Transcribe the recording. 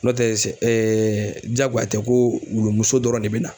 N'o tɛ sɛ ɛɛ jagoya tɛ ko wulu dɔrɔn de be na